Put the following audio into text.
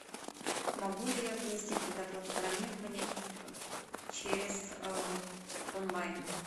могу ли я внести предоплату бронирования через онлайн